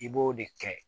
I b'o de kɛ